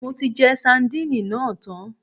Mo ti jẹ sadínìnì náà tán